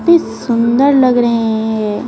सुंदर लग रहे हैं।